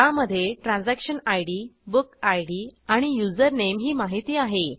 त्यामधे transaction ID book ID आणि username ही माहिती आहे